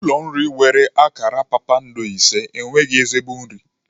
Ụlọ nri nwere akara kpakpando ise enweghị ezigbo nri.